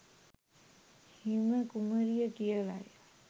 හිම කුමරිය කියලයි.